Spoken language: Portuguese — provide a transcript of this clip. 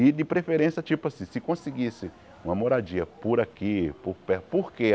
E de preferência, tipo assim, se conseguisse uma moradia por aqui, por perto, por quê?